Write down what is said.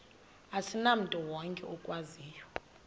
asimntu wonke okwaziyo